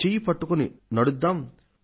చేయి అందుకొని నడుద్దాం